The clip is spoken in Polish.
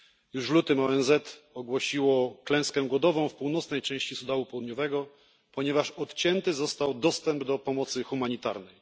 Już w lutym ONZ ogłosiło klęskę głodową w północnej części Sudanu Południowego, ponieważ odcięty został dostęp do pomocy humanitarnej.